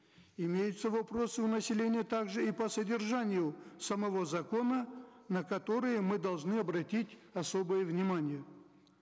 имеются вопросы у населения также и по содержанию самого закона на которые мы должны обратить особое внимание